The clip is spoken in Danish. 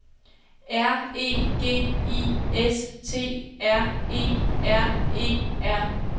R E G I S T R E R E R